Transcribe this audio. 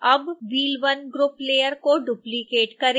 अब wheel1 group layer को duplicate करें